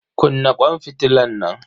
Kunna kwan fitilan nan.